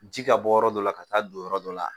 Ji ka bɔ yɔrɔ dɔ la ka taa don yɔrɔ dɔ la